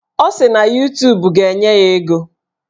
Ọ sị na Yutubu ga-enye ya ego.